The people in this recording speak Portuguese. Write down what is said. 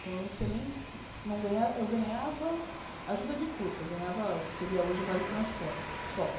Foi um excelente... Não ganha eu ganhava ajuda de custo, eu ganhava o que seria hoje o Vale Transporte, só.